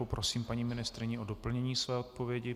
Poprosím paní ministryni k doplnění své odpovědi.